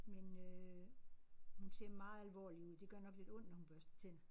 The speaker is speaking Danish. Men øh hun ser meget alvorlig ud. Det gør nok lidt ondt når hun børster tænder